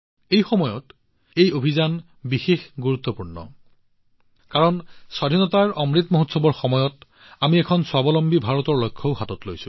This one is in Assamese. এই সময়ত এই অভিযানো বিশেষ কাৰণ স্বাধীনতাৰ অমৃত মহোৎসৱৰ সময়ত আমি এখন স্বাৱলম্বী ভাৰতৰ লক্ষ্যও গ্ৰহণ কৰিছো